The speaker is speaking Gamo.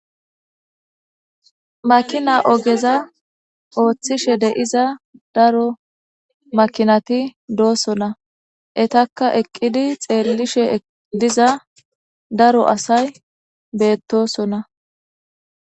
Makina ogeza ooththishe de7iza daro makinati doosona etakka eqqidi xeellishe diza daro asay beettosona.